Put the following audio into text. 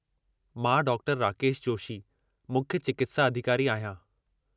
मां डॉ. राकेश जोशी, मुख्य चिकित्सा अधिकारी आहियां।